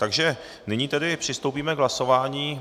Takže nyní tedy přistoupíme k hlasování.